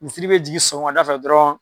Misiri be jigin sɔkɔmada fɛ dɔrɔn